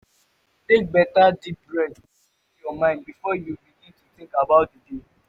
take beta deep breathe den clear yur mind bifor yu begin tink about di day.